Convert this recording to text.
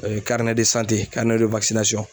Ɛɛ karinɛ de sante karinɛ de wakisinasɔn